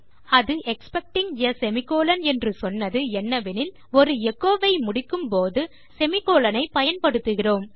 ஆனால் அது expecting ah semicolon என்று சொன்னது என்னவெனில் ஒரு எச்சோ வை முடிக்கும் போது நாம் செமிகோலன் ஐ பயன்படுத்துகிறோம்